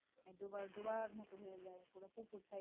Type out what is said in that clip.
ডোবা ডোবার মত হয়ে যায় পুরো পুকুর